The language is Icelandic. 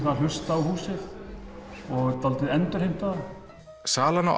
að hlusta á húsið og endurheimta það salan á